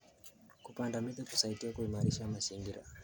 Kupanda miti kusaidia kuimarisha mazingira.